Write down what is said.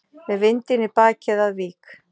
Með vindinn í bakið að Vík